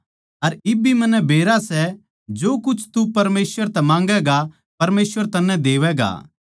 अर इब भी मन्नै बेरा सै जो कुछ तू परमेसवर तै माँगैगा परमेसवर तन्नै देवैगा